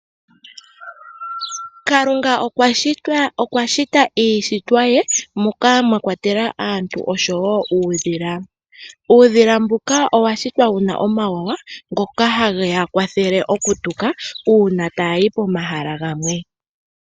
Kalunga okwashita iishitwa ye moka mwakwatelwa aantu oshowo uudhila. Uudhila mbuka owashitwa wuna omawawa ngoka hage wu kwathele okutuka uuna tawuyi pomahala gamwe.